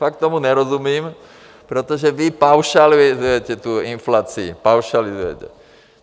Fakt tomu nerozumím, protože vy paušalizujete tu inflaci, paušalizujete.